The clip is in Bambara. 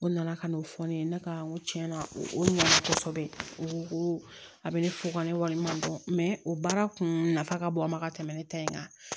O nana ka na o fɔ ne ye ne ka n ko tiɲɛna o ma kosɛbɛ o ko a bɛ ne fo ka ne wari ma dɔn o baara kun nafa ka bon a ma ka tɛmɛ ne ta in kan